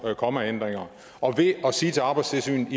kommaændringer og ved at sige til arbejdstilsynet at